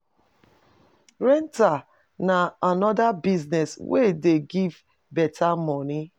Rentals na another business wey dey give better money